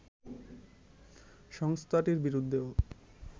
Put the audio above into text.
সংস্থাটির বিরুদ্ধেও